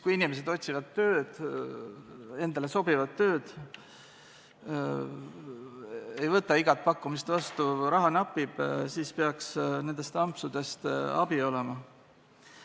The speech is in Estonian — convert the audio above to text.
Kui inimesed otsivad endale sobivat tööd, ei võta igat pakkumist vastu, raha aga napib, siis peaks nendest ampsudest abi olema.